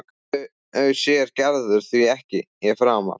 Þau sér Gerður því ekki framar.